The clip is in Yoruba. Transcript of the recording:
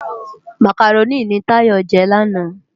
Mákáróni ni Tayo jè làná